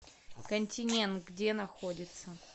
континент где находится